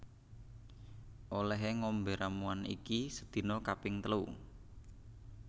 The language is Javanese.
Olehe ngombe ramuan iki sedina kaping telu